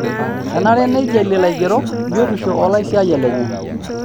Kenare neijalie laigerok biotisho oolaisiyiak lenye.